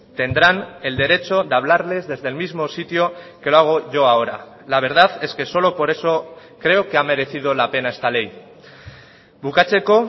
tendrán el derecho de hablarles desde el mismo sitio que lo hago yo ahora la verdad es que solo por eso creo que ha merecido la pena esta ley bukatzeko